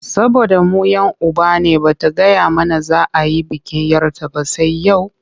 Saboda mu 'yan uba ne ba ta gaya mana za a yi bikin 'yar ta ba sai yau?